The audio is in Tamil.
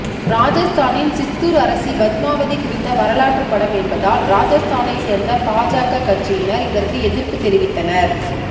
ராஜஸ்தானின் சித்தூர் அரசி பத்மாவதி குறித்த வரலாற்றுப் படம் என்பதால் ராஜஸ்தானை சேர்ந்த பாஜக கட்சியினர் இதற்கு எதிர்ப்பு தெரிவித்தனர்